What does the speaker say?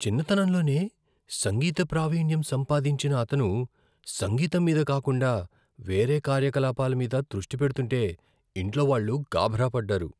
చిన్నతనంలోనే సంగీత ప్రావీణ్యం సంపాదించిన అతను సంగీతం మీద కాకుండా వేరే కార్యకలాపాల మీద దృష్టి పెడుతుంటే ఇంట్లోవాళ్ళు గాభరా పడ్డారు.